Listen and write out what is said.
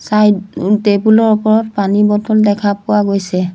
Table ৰ ওপৰত পানী বটল দেখা পোৱা গৈছে।